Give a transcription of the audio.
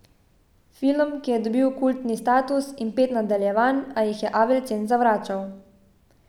Film, ki je dobil kultni status in pet nadaljevanj, a jih je Avildsen zavračal.